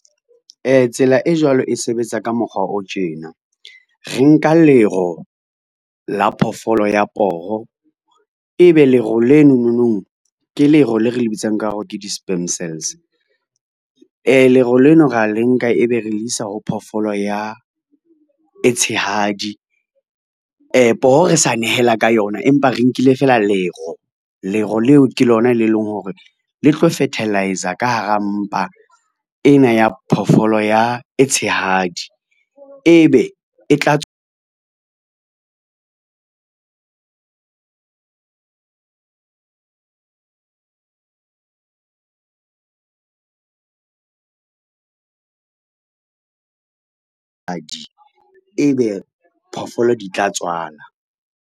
Tsela e jwalo e sebetsa ka mokgwa o tjena, re nka lero la phoofolo ya poho e be lero lenononong, ke lero le re le bitsang ka hore ke di-sperm cells, lero leno ra le nka ebe re le isa ho phoofolo e tshehadi poho re sa nehela ka yona, empa re nkile fela lero. Lero leo ke lona le leng hore le tlo fertiliser ka hara mpa ena ya phoofolo e tshehadi e be e tla tswa e be phoofolo di tla tswala.